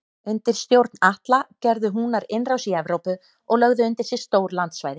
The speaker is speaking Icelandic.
Undir stjórn Atla gerðu Húnar innrás í Evrópu og lögðu undir sig stór landsvæði.